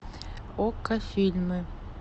окко фильмы